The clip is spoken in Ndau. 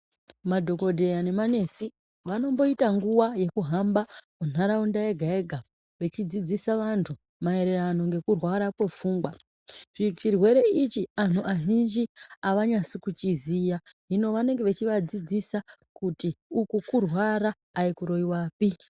Madhokodheya nemanesi vanomboita nguwa yekuhamba muntaraunda yeha yega vechidzidzisa vantu mayererano ngekurwara kwepfungwa. Ichi chirwere ichi vantu avanasi kuchiziya hino vanenge vachivadzidzisa kuti uku kurwara ayikuroyiwapi.